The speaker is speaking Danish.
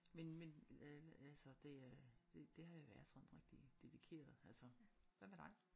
Men men øh altså det er det har jeg været sådan rigtig dedikeret altså. Hvad med dig?